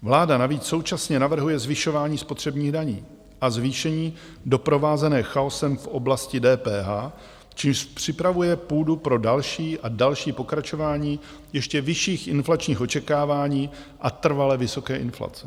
Vláda navíc současně navrhuje zvyšování spotřebních daní a zvýšení doprovázené chaosem v oblasti DPH, čímž připravuje půdu pro další a další pokračování ještě vyšších inflačních očekávání a trvale vysoké inflace.